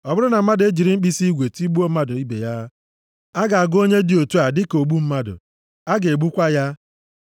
“ ‘Ọ bụrụ na mmadụ e jiri mkpirisi igwe tigbuo mmadụ ibe ya, a ga-agụ onye dị otu a dịka ogbu mmadụ. A ga-egbukwa ya.